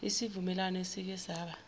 isivumelwano esike saba